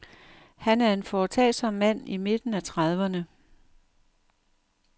Han er en foretagsom mand i midten af trediverne.